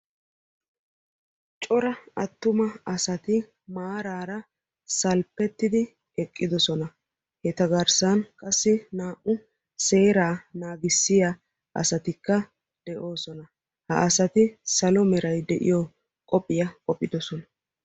cora attuma asati maarara salppettidi eqqidoosna. eta garssan qassi naa''u seera naagissiya asatikka de'oosoan. ha asati salo meray de'iyo qophiya qophphidoosona.